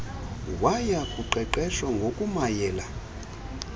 waya kuqeqeshwa ngokumayela